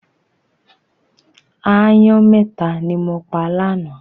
Aáyán mẹ́ta ni mo pa lánàá.